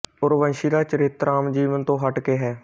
ਉਰਵਸ਼ੀ ਦਾ ਚਰਿੱਤਰ ਆਮ ਜੀਵਨ ਤੋਂ ਹਟਕੇ ਹੈ